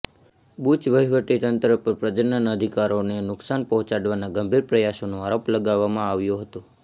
bush વહીવટીતંત્ર પર પ્રજનન અધિકારોને નુકસાન પહોંચાડવાના ગંભીર પ્રયાસોનો આરોપ લગાવવામાં આવ્યો હતો